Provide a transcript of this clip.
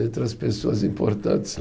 Entre as pessoas importantes